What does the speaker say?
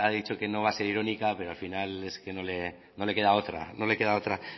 dicho que no va a ser irónica pero al final es que no le queda otra no le queda otra